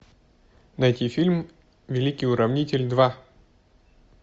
найти фильм великий уравнитель два